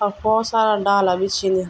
अ बहुत सारा डाला भी छिन।